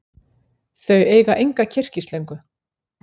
Þau eiga enga kyrkislöngu.